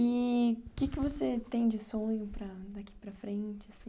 E o que que você tem de sonho daqui para frente, assim?